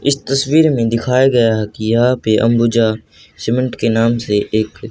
इस तस्वीर में दिखाया गया है कि यहा पे अंबुजा सीमेंट के नाम से एक--